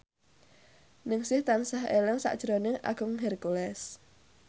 Ningsih tansah eling sakjroning Agung Hercules